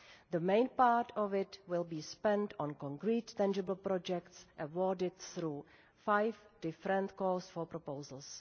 The main part of it will be spent on concrete, tangible projects, awarded through five different calls for proposals.